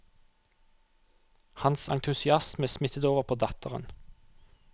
Hans entusiasme smittet over på datteren.